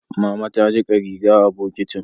Mama ta jika riga a bokitin